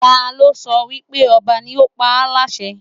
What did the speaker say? Ta ló sọ wípé ọba ni ó pa á láṣẹ